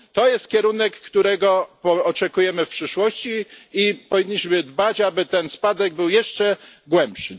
To jest kierunek, którego oczekujemy w przyszłości, i powinniśmy dbać, aby ten spadek był jeszcze głębszy.